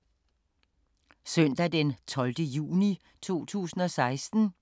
Søndag d. 12. juni 2016